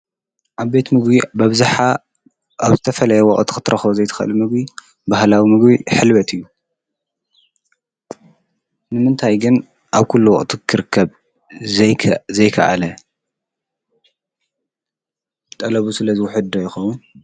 አብ ቤት ምግብ ብኣብዝሓ ኣብ ዝተፈለየ ወቕ ት ኽትረኽ ዘይትኸል ምግብ ብህላዊ ምግብ ኅልበት እዩ ንምንታይ ግን ኣብ ኲሉ ወቕቱ ክርከብ ዘይከኣለ ጠለቡ ስለ ዝውሕድ ዶ ይኸውን?